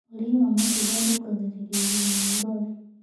Ũrĩĩ wa matunda ũrũngagĩrĩrĩa ũgima wa ngothĩ